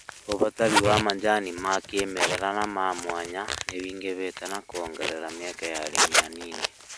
Ũbatari wa macani ma kĩmerera na ma mwanya nĩũingĩhite na kuongerera mieke ya arĩmi anini